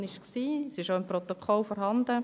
Es ist auch im Protokoll vorhanden.